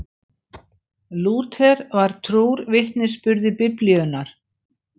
Lúther var trúr vitnisburði Biblíunnar.